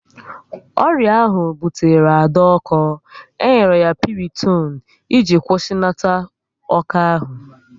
Ọrịa ahụ butere Ada ọko, e nyere ya Pịrịtonu e ji kwusinata ọko ahụ